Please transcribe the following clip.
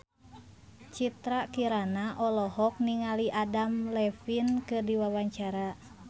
Citra Kirana olohok ningali Adam Levine keur diwawancara